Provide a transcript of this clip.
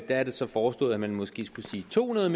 er det så foreslået at man måske skulle sige to hundrede